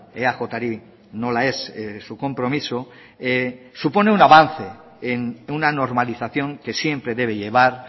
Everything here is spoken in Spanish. eajri nola ez su compromiso supone un avance en una normalización que siempre debe llevar